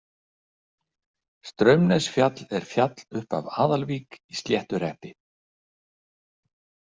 Straumnesfjall er fjall upp af Aðalvík í Sléttuhreppi.